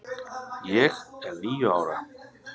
ég er níu ára.